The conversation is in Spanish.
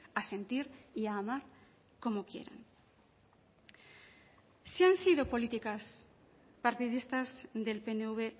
a sentir y a amar como quieran sí han sido políticas partidistas del pnv